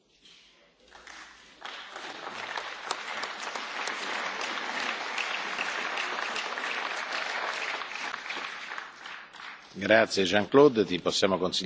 Grazie Jean Claude, ti possiamo consigliare qualche buon medico per curarti definitivamente, in modo che tu possa essere sempre forte e rispondere a tutte le nostre domande.